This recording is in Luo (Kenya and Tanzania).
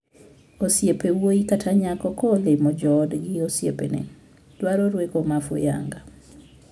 Osiep wuoyi kata nyako ka olimo joodgi osiepne dwaro rueko ma fuyanga.